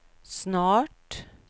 snart